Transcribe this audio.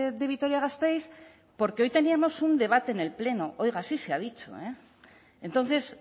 de vitoria gasteiz porque hoy teníamos un debate en el pleno oiga así se ha dicho entonces